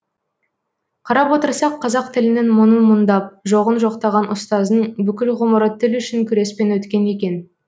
қарап отырсақ қазақ тілінің мұңын мұңдап жоғын жоқтаған ұстаздың бүкіл ғұмыры тіл үшін күреспен өткен екен